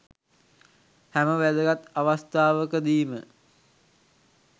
හැම වැදගත් අවස්ථාවක දීම